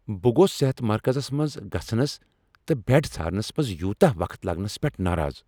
بہٕ گوٚوس صحت مرکزس منٛز گژھنس تہٕ بیڈ ژھارنس منٛز یوتاہ وقت لگنس پٮ۪ٹھ ناراض۔